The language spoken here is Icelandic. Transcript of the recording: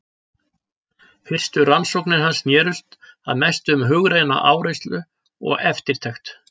Fyrstu rannsóknir hans snerust að mestu um hugræna áreynslu og eftirtekt.